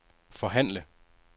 forhandle